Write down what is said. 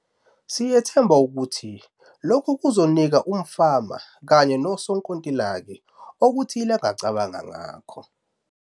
Siyethemba ukuthi lokhu kuzonika umfama kanye nosonkontileka "okuthile angacabanga ngako".